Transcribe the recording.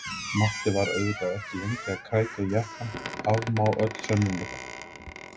Matti var auðvitað ekki lengi að krækja í jakkann, afmá öll sönnunargögn!